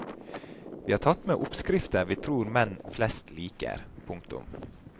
Vi har tatt med oppskrifter vi tror menn flest liker. punktum